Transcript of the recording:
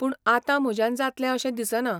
पूण आतां म्हज्यान जातलें अशें दिसना.